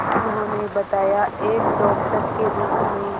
उन्होंने बताया एक डॉक्टर के रूप में